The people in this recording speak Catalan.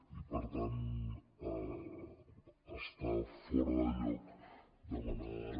i per tant està fora de lloc demanar ara